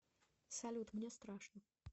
салют мне страшно